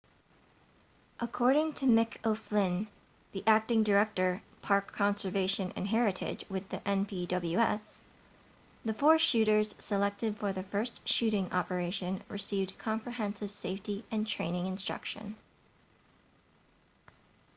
according to mick o'flynn the acting director park conservation and heritage with the npws the four shooters selected for the first shooting operation received comprehensive safety and training instruction